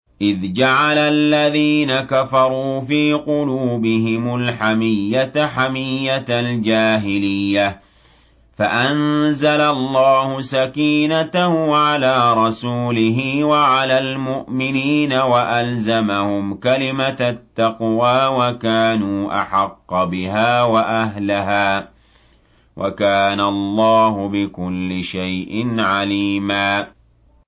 إِذْ جَعَلَ الَّذِينَ كَفَرُوا فِي قُلُوبِهِمُ الْحَمِيَّةَ حَمِيَّةَ الْجَاهِلِيَّةِ فَأَنزَلَ اللَّهُ سَكِينَتَهُ عَلَىٰ رَسُولِهِ وَعَلَى الْمُؤْمِنِينَ وَأَلْزَمَهُمْ كَلِمَةَ التَّقْوَىٰ وَكَانُوا أَحَقَّ بِهَا وَأَهْلَهَا ۚ وَكَانَ اللَّهُ بِكُلِّ شَيْءٍ عَلِيمًا